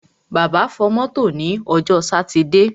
Bàbá fọ mọ́tò ní ọjọ́ sátidé.